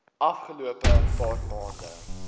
afgelope paar maande